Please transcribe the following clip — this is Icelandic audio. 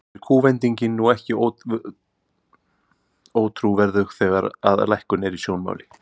Er kúvendingin nú ekki ótrúverðug, þegar að lækkun er í sjónmáli?